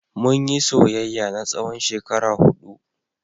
Mun yi soyayya na tsawon shekara huɗu.